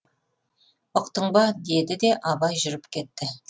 ұқтың ба деді де абай жүріп кетті